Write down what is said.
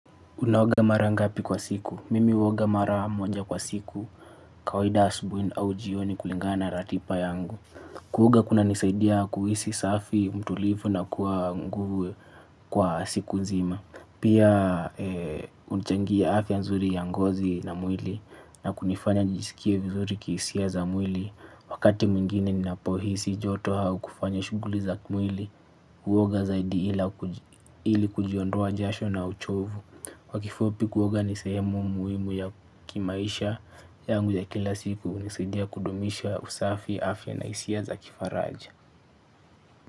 Unaoga mara ngapi kwa siku. Mimi uoga mara moja kwa siku. Kawaida asubui au jioni kulingana ratipa yangu. Kuoga kunanisaidia kuisi safi mtulivu na kuwa nguvu kwa siku nzima. Pia unichangia afya nzuri ya ngozi na mwili na kunifanya nijisikie vizuri kisia za mwili. Wakati mwingine ninapohisi joto haukufanya shuguli za kumwili. Kuwoga zaidi ili kujiondoa jasho na uchovu kwa kifupi kuwoga ni sehemu muimu ya kimaisha yangu ya kila siku unisidia kudomisha usafi afya na isia za kifaraja.